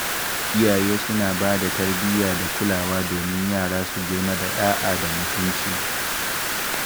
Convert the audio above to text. Iyaye suna ba da tarbiyya da kulawa domin yara su girma da ɗa’a da mutunci.